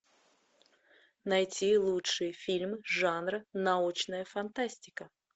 найти лучший фильм жанра научная фантастика